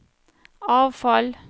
avfall